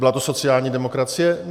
Byla to sociální demokracie?